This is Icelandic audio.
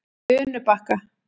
Unubakka